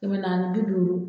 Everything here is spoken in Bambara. Kɛmɛ naani ni bi duuru